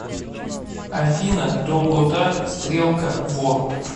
афина долгота стрелка во